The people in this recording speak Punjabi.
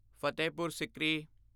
ਫਤਿਹਪੁਰ ਸਿਕਰੀ